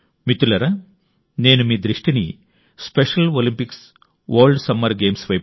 మిత్రులారా నేను మీ దృష్టిని special Olympics world summer games వైపు